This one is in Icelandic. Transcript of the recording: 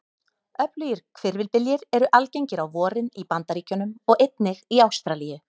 Öflugir hvirfilbyljir eru algengir á vorin í Bandaríkjunum og einnig í Ástralíu.